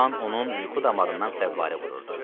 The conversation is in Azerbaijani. Qan onun yuxu damarından fəvvarə vururdu.